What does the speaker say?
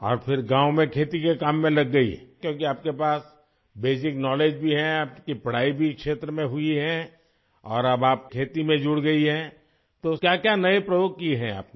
और फिर गाँव में खेती के काम में लग गई क्योंकि आपके पास बेसिक नाउलेज भी है आपकी पढ़ाई भी इस क्षेत्र में हुई है और अब आप खेती में जुड़ गई है तो क्या क्या नए प्रयोग किये हैं आपने